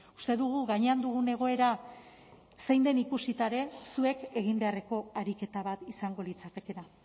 uste dugu gainean dugun egoera zein den ikusita ere zuek egin beharreko ariketa bat izango litzatekeela